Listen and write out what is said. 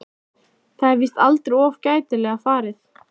Það er víst aldrei of gætilega farið.